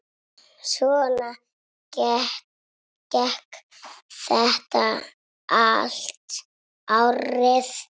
Svona gekk þetta allt árið.